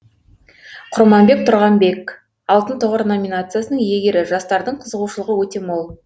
құрманбек тұрғанбек алтын тұғыр номинациясының иегері жастардың қызығушылығы өте мол